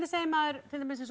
segir maður til dæmis eins og